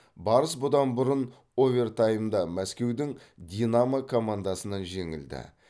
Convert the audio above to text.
барыс бұдан бұрын овертаймда мәскеудің динамо командасынан жеңілді